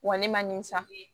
Wa ne ma nin sa